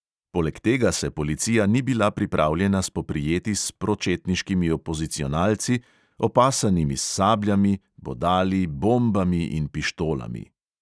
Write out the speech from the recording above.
Poleg tega se policija ni bila pripravljena spoprijeti s pročetniškimi opozicionalci, opasanimi s sabljami, bodali, bombami in pištolami.